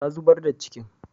Ta zubar da cikin